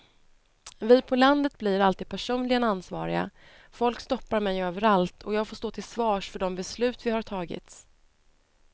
Vi på landet blir alltid personligen ansvariga, folk stoppar mig överallt och jag får stå till svars för de beslut vi har tagit.